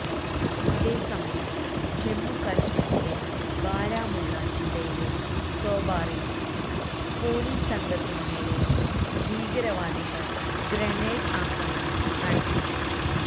അതേസമയം ജമ്മു കശ്മീരിലെ ബാരാമുള്ള ജില്ലയിലെ സോപോറില് പോലീസ് സംഘത്തിനു നേരെ ഭീകരവാദികള് ഗ്രനേഡ് ആക്രമണം നടത്തി